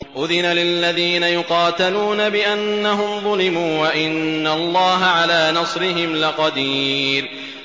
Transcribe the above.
أُذِنَ لِلَّذِينَ يُقَاتَلُونَ بِأَنَّهُمْ ظُلِمُوا ۚ وَإِنَّ اللَّهَ عَلَىٰ نَصْرِهِمْ لَقَدِيرٌ